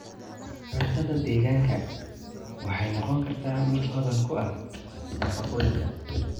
Cuntada deegaanka waxay noqon kartaa mid hodan ku ah nafaqooyinka.